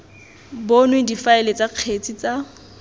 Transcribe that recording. bonwe difaele tsa kgetse tsa